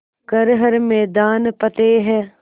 कर हर मैदान फ़तेह